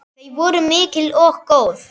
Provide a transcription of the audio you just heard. Þau voru mikil og góð.